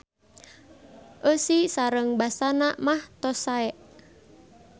Eusi sareng basana mah tos sae.